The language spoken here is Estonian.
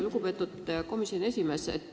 Lugupeetud komisjoni esimees!